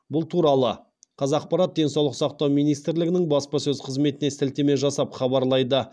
бұл туралы қазақпарат денсаулық министрлігінің баспасөз қызметіне сілтеме жасап хабарлайды